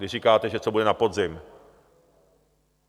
Když říkáte, že co bude na podzim.